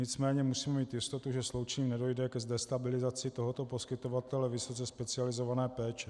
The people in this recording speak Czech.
Nicméně musíme mít jistotu, že sloučením nedojde k destabilizaci tohoto poskytovatele vysoce specializované péče.